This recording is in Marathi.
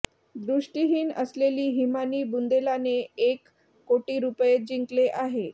दृष्टिहीन असलेली हिमानी बुंदेलाने एक कोटी रुपये जिंकले आहे